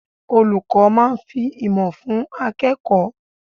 Olùkọ́ máa fi ìmọ̀ fún akẹ́kọ̀ọ́.